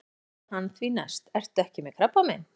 Og þá spurði hann því næst: Ertu ekki með krabbamein?